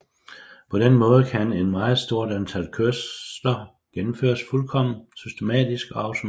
På den måde kan et meget stort antal kørsler gennemføres fuldkommen systematisk og automatisk